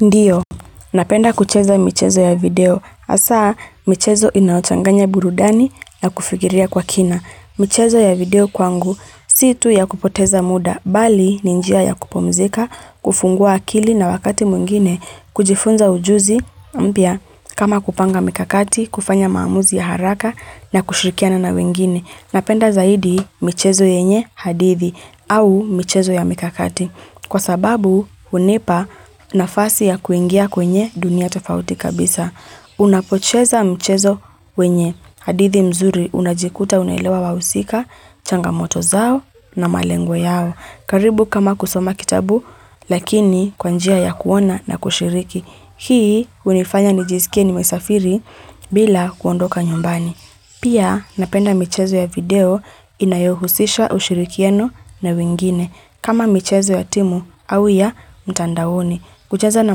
Ndiyo, napenda kucheza michezo ya video. Asa, michezo inayochanganya burudani na kufikiria kwa kina. Michezo ya video kwangu, si tu ya kupoteza muda, bali ni njia ya kupumzika, kufungua akili na wakati mwingine, kujifunza ujuzi, mpya, kama kupanga mikakati, kufanya maamuzi ya haraka na kushirikiana na wengine. Napenda zaidi michezo yenye hadithi au michezo ya mikakati. Kwa sababu, unipa nafasi ya kuingia kwenye dunia tafauti kabisa. Unapocheza michezo wenye hadithi mzuri unajikuta unaelewa wahusika, changamoto zao na malengo yao. Karibu kama kusoma kitabu, lakini kwa njia ya kuona na kushiriki. Hii, unifanya nijisikie ni mesafiri bila kuondoka nyumbani. Pia napenda michezo ya video inayohusisha ushirikiano na wingine kama michezo ya timu au ya mtandaoni. Kucheza na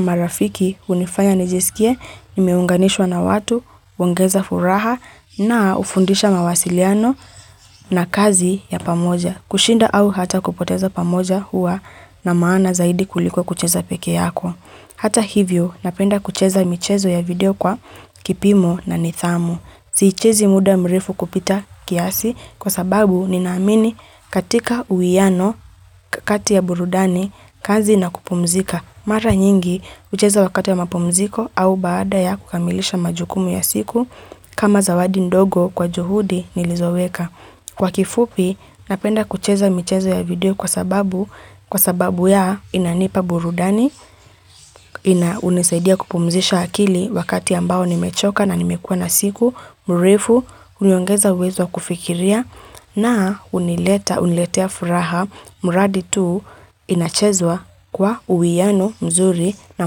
marafiki hunifanya nijisikie, nimeunganishwa na watu, huongeza furaha na ufundisha mawasiliano na kazi ya pamoja. Kushinda au hata kupoteza pamoja huwa na maana zaidi kuliko kucheza peke yako. Hata hivyo napenda kucheza michezo ya video kwa kipimo na nithamu. Siichezi muda mrefu kupita kiasi kwa sababu ninaamini katika uiyano kati ya burudani kazi na kupumzika. Mara nyingi ucheza wakati ya mapumziko au baada ya kukamilisha majukumu ya siku kama zawadi ndogo kwa juhudi nilizoweka. Kwa kifupi, napenda kucheza michezo ya video kwa sababu ya inanipa burudani, unisaidia kupumzisha akili wakati ambao nimechoka na nimekuwa na siku, mrefu, uniongeza uwezo kufikiria na uniletea furaha, mradi tuu inachezwa kwa uwiano mzuri na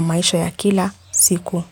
maisha ya kila siku.